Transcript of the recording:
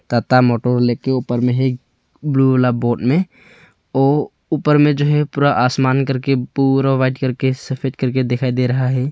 Tata motor लिख के ऊपर में है ब्लू वाला बोर्ड में ओ ऊपर में जो है पूरा आसमान करके पूरा वाइट करके सफेद करके दिखाई दे रहा है।